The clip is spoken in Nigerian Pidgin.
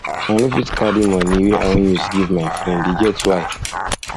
i no fit carry moni wey i wan use give my friend e get why